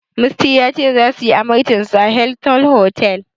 Musty ya ce, zasu yi amarcinsu a Hilton otal.